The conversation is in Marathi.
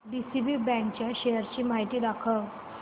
डीसीबी बँक च्या शेअर्स ची माहिती दाखव